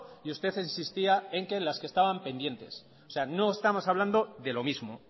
y usted insistía en que las que estaban pendientes o sea no estamos hablando de lo mismo